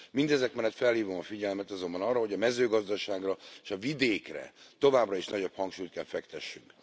Mindezek mellett felhívom a figyelmet azonban arra, hogy a mezőgazdaságra és a vidékre továbbra is nagyobb hangsúlyt kell fektessünk.